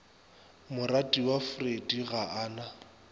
moratiwa freddie ga a na